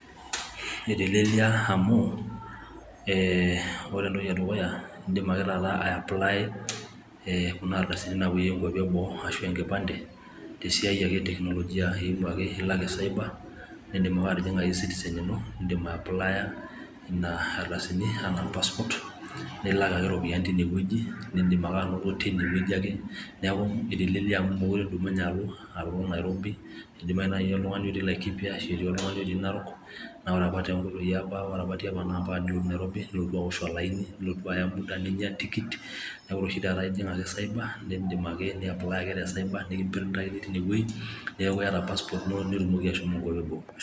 etelelia amu ore entoki edukuya naa idim ake aiaplaya kunaardasini naa poyieki kwapi e eboo, ashu enkipande tesiai ake eteknolojia. Ilo ake cyber nidim ake atijing E-citizen ino nidim aiapplaya nena ardasini anaa passport nilak ake iropiyiani teine weji nidim anoto teineweji ake. Neaku etelelia amu meekure idumunye alo nairobi, keidimayu oltungani otii Laikipia ashu Narok , naa ore apa tiapa naa mpaka ninotu alo Nairobi nilo aosh olaini, nilotu aya muda ninya tikit. Naaku oreshi taata ijing' ake cyber nindim ake niapply ake te cyber nikimprintaki teine weji neaku iata passport ino nitumoki ashomo.